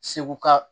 Seguka